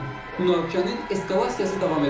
Münaqişənin eskalasiyası davam edir.